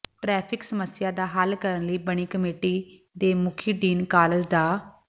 traffic ਸਮੱਸਿਆ ਦਾ ਹੱਲ ਕਰਨ ਲਈ ਬਣੀ ਕਮੇਟੀ ਦੇ ਮੁਖੀ ਡੀਨ ਕਾਲਜ ਡਾ